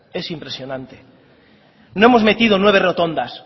es impresionante no hemos metido nueve rotondas